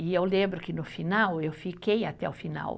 E eu lembro que, no final, eu fiquei até o final.